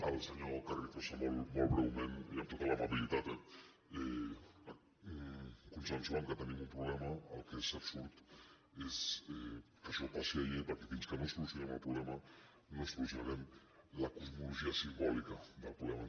al senyor carrizosa molt breument i amb tota l’amabilitat eh consensuant que tenim un problema el que és absurd és que això passi a llei perquè fins que no solucionem el problema no solucionarem la cosmologia simbòlica del problema